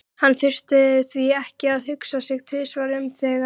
Hann þurfti því ekki að hugsa sig tvisvar um þegar